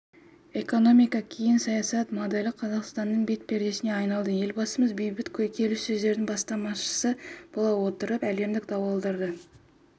экономика кейін саясат моделі қазақстанның бет-пердесіне айналды елбасымыз бейбіт келіссөздердің бастамасышысы бола отырып әлемдік дауларды